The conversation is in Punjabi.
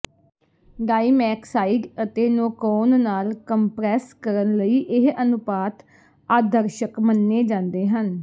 ਡਾਈਮੈਕਸਾਈਡ ਅਤੇ ਨੋਕੋਨ ਨਾਲ ਕੰਪਰੈੱਸ ਕਰਨ ਲਈ ਇਹ ਅਨੁਪਾਤ ਆਦਰਸ਼ਕ ਮੰਨੇ ਜਾਂਦੇ ਹਨ